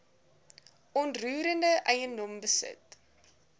onroerende eiendom besit